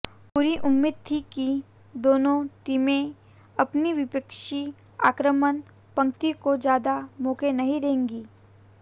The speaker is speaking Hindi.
पूरी उम्मीद थी कि दोनों टीमें अपनी विपक्षी आक्रमण पंक्ति को ज्यादा मौके नहीं देंगी